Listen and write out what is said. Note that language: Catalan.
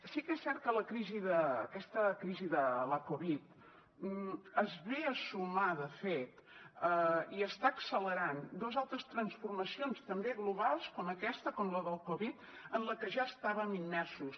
sí que és cert que la crisi de la covid es ve a sumar de fet i està accelerant dos altres transformacions també globals com aquesta com la de la covid en la que ja estàvem immersos